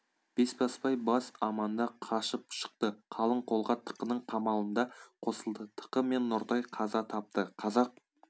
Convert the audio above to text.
бесбасбай бас аманда қашып шықты қалың қолға тықының қамалында қосылды тықы мен нұртай қаза тапты қазақ